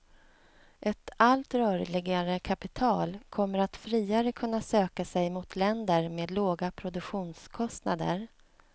Ett allt rörligare kapital kommer att friare kunna söka sig mot länder med låga produktionskostnader.